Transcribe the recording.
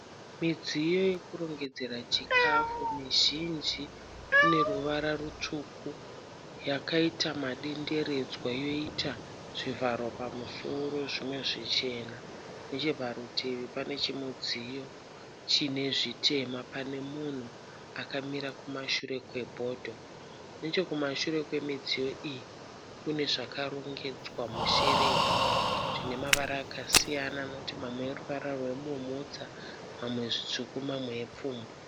Midziyo yokurongedzera chikafu. Mizhinji ine ruvara rutsvuku, yakaita madenderedzwa yoita zvivharo pamusoro zvimwe zvichena. Necheparutivi pane chimudziyo chine zvitema pane munhu akamira kumashure kwebodho. Nechekumashure kwemidziyo iyi kune zvakarongedzwa musherefu zvine mavara akasiyana anoti mamwe eruvara rwebumhudza, mamwe zvitsvuku mamwe epfumbu.